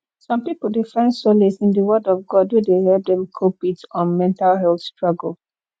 some people dey find solace in di word of god wey dey help dem cope with um mental health struggle